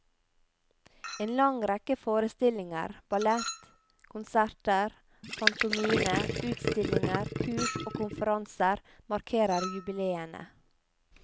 En lang rekke forestillinger, ballett, konserter, pantomime, utstillinger, kurs og konferanser markerer jubileene.